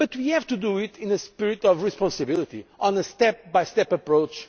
However, we have to do it in a spirit of responsibility on a step by step approach